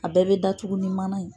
A bɛɛ bɛ datugu ni mana ye.